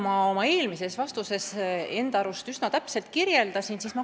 Ma oma eelmises vastuses enda arust üsna täpselt kirjeldasin olukorda.